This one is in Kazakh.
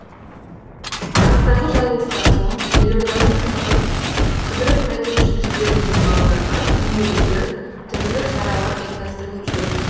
арыстағы жарылыстан соң елордаға тынығып қыдырып қайту үшін жіберілген балаларға күнделікті түрлі шаралар ұйымдастырылып жүр